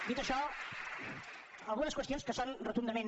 dit això algunes qüestions que són rotundament